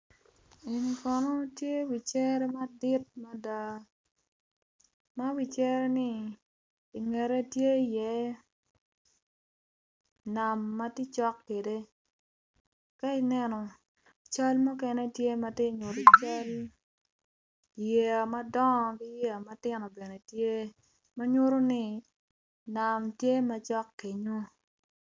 Eni kono tye wi cere madit mada ma wicereni i ngete tye iye nam ma tye cok kwede ka ineno i ngete tye i ye cal yeya madongo ki yeya matino bene tye ma nyuto ni nam tye macok kenyu.